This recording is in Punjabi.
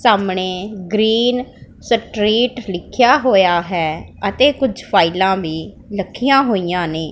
ਸਾਹਮਣੇ ਗਰੀਨ ਸਟਰੀਟ ਲਿਖਿਆ ਹੋਇਆ ਹੈ ਅਤੇ ਕੁਝ ਫਾਈਲਾਂ ਵੀ ਰੱਖੀਆਂ ਹੋਈਆਂ ਨੇ।